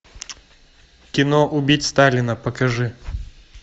кино убить сталина покажи